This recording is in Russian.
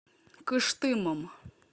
кыштымом